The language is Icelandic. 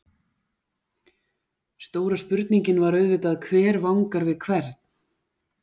Stóra spurningin var auðvitað: Hver vangar við hvern?